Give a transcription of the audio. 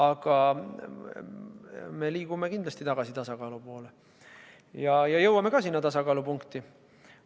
Aga me kindlasti liigume tagasi tasakaalu poole ja sinna tasakaalupunkti ka jõuame.